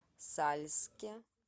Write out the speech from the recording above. сальске